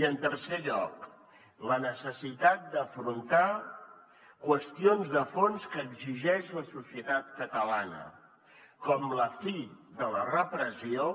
i en tercer lloc la necessitat d’afrontar qüestions de fons que exigeix la societat catalana com la fi de la repressió